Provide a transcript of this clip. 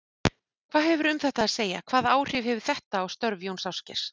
Hvað hefurðu um þetta að segja, hvaða áhrif hefur þetta á störf Jóns Ásgeirs?